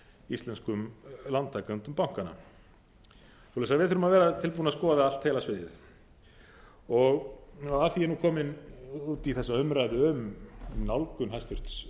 íslenskum lántakendum bankanna við þurfum að vera tilbúin til þess að skoða allt heila sviðið af því að ég er nú kominn út í þessa umræðu um nálgun hæstvirts